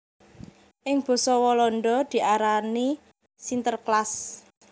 Ing basa Walanda diarani Sinterklaas